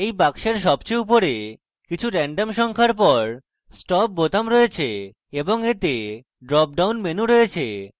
এই box সবচেয়ে উপরে কিছু রান্ডম সংখ্যার পর দ্বারা stop বোতাম রয়েছে এবং এতে drop down menu রয়েছে